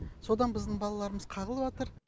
содан біздің балаларымыз қағылып жатыр